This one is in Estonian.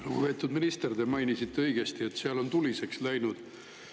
Lugupeetud minister, te mainisite õigesti, et seal on tuliseks läinud.